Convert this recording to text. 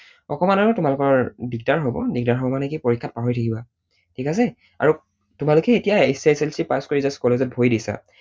অকণমান আৰু তোমালোকৰ দিগদাৰ হব। দিগদাৰ হব মানে কি পৰীক্ষাত পাহৰি থাকিবা। ঠিক আছে? আৰু তোমালোকে এতিয়া HSLC pass কৰি just college ত ভৰি দিছা